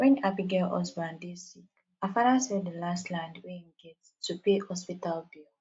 when abigail husband dey sick her father sell the last land wey im get to pay hospital bill